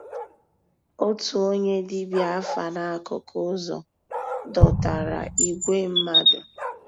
Ótú ónyé dìbíá àfà n'àkụ́kụ́ ụ́zọ̀ dòtárà ígwè mmàdú.